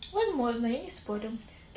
возможно я не спорю